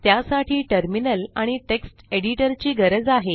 त्यासाठी टर्मिनल आणि text editor ची गरज आहे